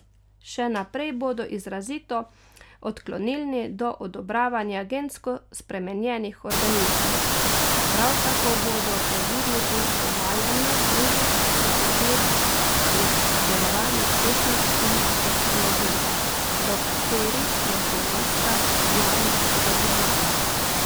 Še naprej bodo izrazito odklonilni do odobravanja gensko spremenjenih organizmov, prav tako bodo previdni pri uvajanju drugih sodobnih pridelovalnih tehnik in tehnologij, do katerih je slovenska javnost zadržana.